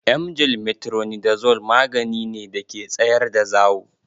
Emgyl metronidazole magani ne da ke tsayar da zawo.